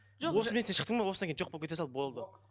сен шықтың ба осыдан кейін жоқ болып кете сал болды